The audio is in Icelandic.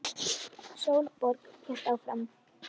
Sólborg hélt áfram.